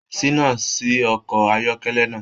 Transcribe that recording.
Ṣina sí ọkọ ayọkẹlẹ náà.